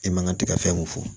E man ka ti ka fɛn mun fɔ